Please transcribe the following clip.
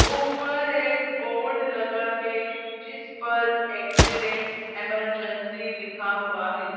ऊपर एक बोर्ड लगा है जिस पर एक्सीडेंट इमरजेंसी लिखा हुआ है।